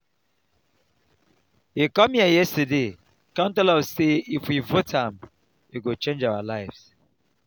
he come here yesterday come tell us say if we vote for am he go change our lives